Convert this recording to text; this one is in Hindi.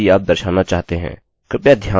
कृपया ध्यान दें यह इसको करने का बहुत ही सरल तरीका है